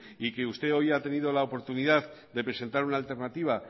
y que usted hoy hay tenido la oportunidad de presentar una alternativa